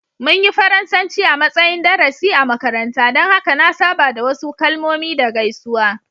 Mun yi Faransanci a matsayin darasi a makaranta, don haka na saba da wasu kalmomi da gaisuwa.